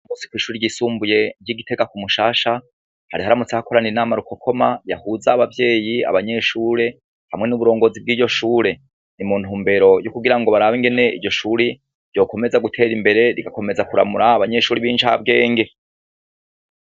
Uyumusi kw'ishure ryisumbuye ry'igitega kumushasha, hari haramutse hakoran'inama rukokoma yahuza Abavyeyi abarimu n'abanyeshure, hamwe n'uburongozi bw'iryo shure, ni muntumbero zukugirago barabe ingene iryo shure ryokomeza guter'imbere ,rigakomeza kuramura abanyeshure benshi.